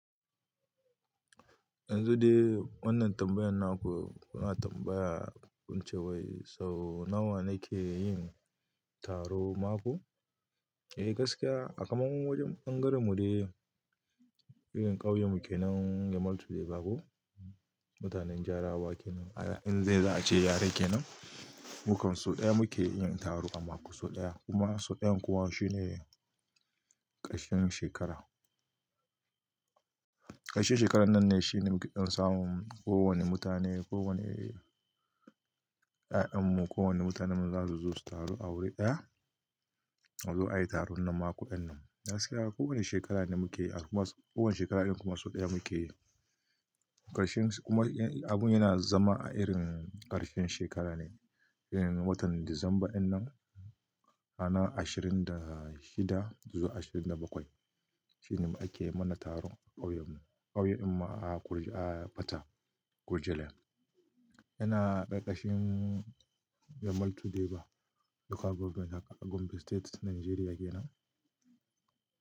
Yanzu dai wannan tambayar naku, kuna tambaya wance wai sau nawa ne ke yin taru mako? Eh gaskiya a kaman wajen ɓangaren mu dai irin ƙauyen muke nan yemaltu Deba ko mutanen Jarewa kenan, inda za a ce yare kenan, mu kam sau ɗaya muke yin taro a mako sau ɗaya kuma sau ɗayan kuwa shine ƙarshen shekara. Ƙarshen shekarar nan ne shine muke dan samun ko wane mutane, ko wane ƴaƴan mu, ko wane mutanenmu za su zo su taro a wuri ɗaya, su zo ayi taron nan mako dinnan. Gaskiya ko wane shekara ne muke a kuma ko wane shekara ɗin kuma sau ɗaya muke yi. Karshen kuma abun yana zama a irin ƙarshen shekara ne, irin watan Disamba dinnan, ranar 26 zuwa 27. Shine ake mana taron ƙauyen mu, ƙauyen mu a Fata Gurjelen. Yana ƙarƙashin yemaltu Deba Local Government a Gombe State Najeriya kenan.